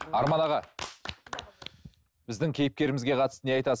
арман аға біздің кейіпкерімізге қатысты не айтасыз